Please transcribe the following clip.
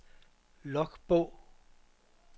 logbog